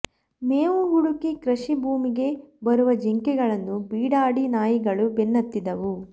ಮೇವು ಹುಡುಕಿ ಕೃಷಿ ಭೂಮಿಗೆ ಬರುವ ಜಿಂಕೆಗಳನ್ನು ಬೀಡಾಡಿ ನಾಯಿಗಳು ಬೆನ್ನತ್ತಿದ್ದವು